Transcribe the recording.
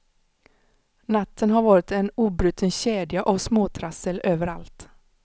Natten har varit en obruten kedja av småtrassel överallt.